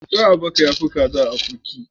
Kwai a baka ya fi Kaza a akurki.